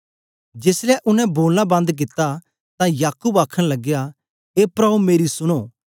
जेसलै उनै बोलना बंद कित्ता तां याकूब आखन लगया ए प्राओ मेरी सुनो